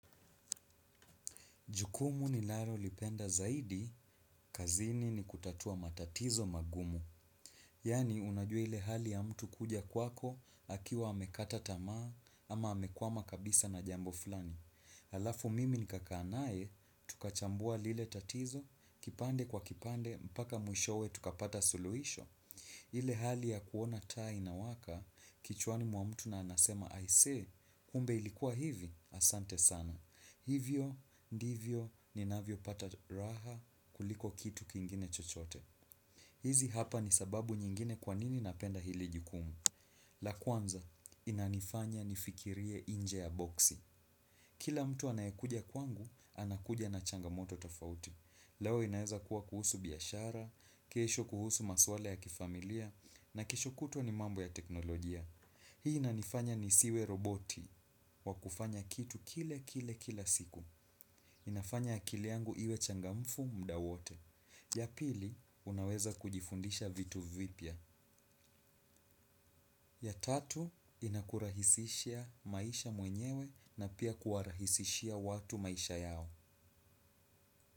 Jukumu ninalo lipenda zaidi, kazini ni kutatua matatizo magumu. Yaani, unajua ile hali ya mtu kuja kwako, akiwa amekata tamaa, ama amekwama kabisa na jambo fulani. Halafu mimi nikakaa naye, tukachambua lile tatizo, kipande kwa kipande, mpaka mwishowe, tukapata suluhisho. Ile hali ya kuona taa inawaka, kichwani mwa mtu na anasema, aisee, kumbe ilikuwa hivi, asante sana. Hivyo, ndivyo, ninavyo pata raha kuliko kitu kingine chochote. Hizi hapa ni sababu nyingine kwanini napenda hili jukumu. La kwanza, inanifanya nifikirie nje ya boksi. Kila mtu anayekuja kwangu, anakuja na changamoto tafauti. Leo inaweza kuwa kuhusu biashara, kesho kuhusu maswala ya kifamilia na kesho kutwa ni mambo ya teknolojia. Hii inanifanya nisiwe roboti wa kufanya kitu kile kile kila siku. Inafanya akili yangu iwe changamfu muda wote. Ya pili, unaweza kujifundisha vitu vipya. Ya tatu, inakurahisishia maisha mwenyewe na pia kuwarahisishia watu maisha yao.